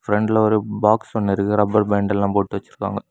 ஃப்ரெண்ட்ல ஒரு பாக்ஸ் ஒன்னு இருக்கு ரப்பர் பேண்ட் எல்லாம் போட்டு வச்சிருக்காங்க.